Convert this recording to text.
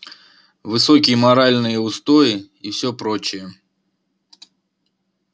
высокие моральные устои и все прочее